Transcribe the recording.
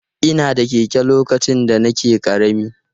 Ina da keke lokacin da nake ƙarami.